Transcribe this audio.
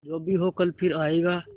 जो भी हो कल फिर आएगा